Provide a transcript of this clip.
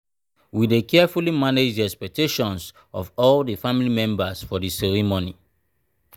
we dey carefully manage the expectations of all di family members for di ceremony.